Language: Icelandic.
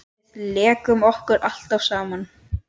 Við lékum okkur alltaf saman.